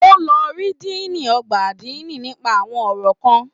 O lọ rí Diini ọgbà adini nipa àwọn ọrọ kàn.